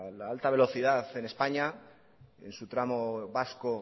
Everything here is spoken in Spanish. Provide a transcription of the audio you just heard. la alta velocidad en españa en su tramo vasco